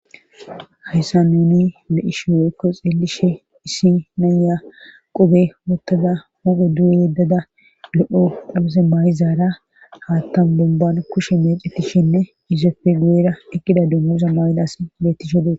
Hayssa nuni be isho weykko xeelishe issi naya qobe wootada hophe du'u yeddada lo'o dhabuse maay'izaara haattan bomban kushe mecetishinne izefe guera ekida dummusa maay'das beettishodee